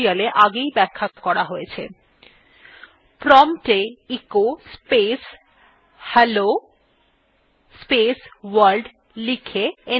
prompt এ echo space hello world লিখে enter টিপুন